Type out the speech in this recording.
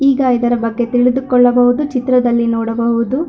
ಈಗ ಇದರ ಬಗ್ಗೆ ತಿಳಿದುಕೊಳ್ಳಬಹುದು ಚಿತ್ರದಲ್ಲಿ ನೋಡಬಹುದು.